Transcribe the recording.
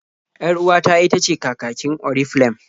Yar-uwata itace kakakin Oriflem.